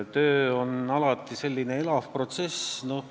Töö on alati selline elav protsess.